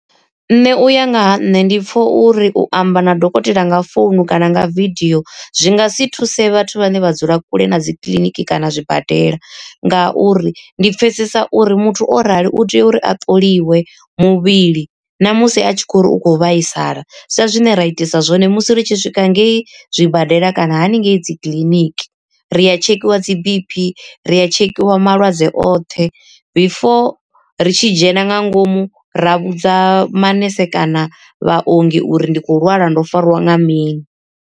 Nṋe uya ngaha nṋe ndi pfa uri u amba na dokotela nga founu kana nga vidio zwi nga si thuse vhathu vhane vha dzula kule na dzi kiḽiniki kana zwibadela. Ngauri ndi pfhesesa uri muthu o rali u tea uri a ṱoliwe muvhili namusi a tshi khou ri u khou vhaisala sa zwine ra itisa zwone musi ri tshi swika ngei zwibadela kana haningei dzi kiḽiniki, ri a tshekhiwa dzi B_P ri a tshekhiwa malwadze oṱhe before ri tshi dzhena nga ngomu ra vhudza manese kana vhaongi uri ndi khou lwala ndo farwa nga mini.